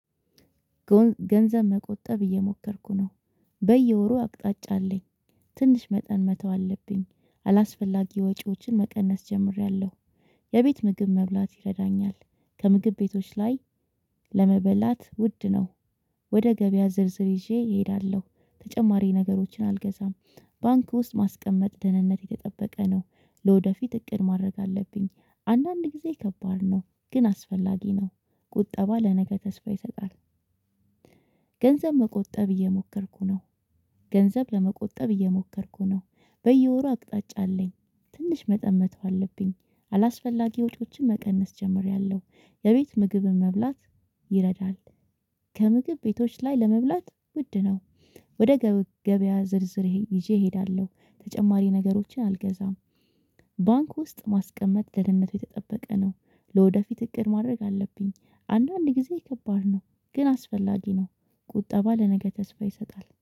ገንዘብ መቆጠብ እየሞከርኩ ነው። በየወሩ አቅጣጫ አለኝ። ትንሽ መጠን መተው አለብኝ። አላስፈላጊ ወጪዎችን መቀነስ ጀምሬያለሁ። የቤት ምግብ መብላት ይረዳኛል። ከምግብ ቤቶች ላይ ለመበላት ውድ ነው። ወደ ገበያ ዝርዝር ይዤ እሄዳለሁ። ተጨማሪ ነገሮችን አልገዛም። ባንክ ውስጥ ማስቀመጥ ደህንነት የተጠበቀ ነው። ለወደፊት እቅድ ማድረግ አለብኝ። አንዳንድ ጊዜ ከባድ ነው። ግን አስፈላጊ ነው። ቁጠባ ለነገ ተስፋ ይሰጣል። ገንዘብ መቆጠብ እየሞከርኩ ነው። ገንዘብ ለመቆጠብ እየሞከርኩ ነው። በየወሩ አቅጣጫ አለኝ። ትንሽ መጠን መተው አለብኝ። አላስፈላጊ ወጪዎችን መቀነስ ጀምሬያለሁ። የቤት ምግብን መብላት ይረዳል። ከምግብ ቤቶች ላይ ለመብላት ውድ ነው። ወደ ገ ገበያ ዝርዝር ይሄ ይዤ እሄዳለሁ። ተጨማሪ ነገሮችን አልገዛም። ባንክ ውስጥ ማስቀመጥ ደህንነቱ የተጠበቀ ነው። ለወደፊት እቅድ ማድረግ አለብኝ። አንዳንድ ጊዜ ከባድ ነው። ግን አስፈላጊ ነው። ቁጠባ ለነገ ተስፋ ይሰጣል።